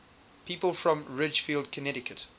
people from ridgefield connecticut